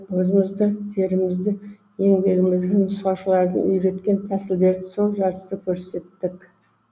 өзімізді терімізді еңбегімізді нұсқаушылардың үйреткен тәсілдерін сол жарыста көрсеттік